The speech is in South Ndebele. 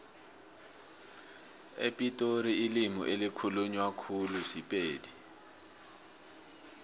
epitori ilimi elikhulunywa khulu sipedi